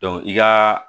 i ka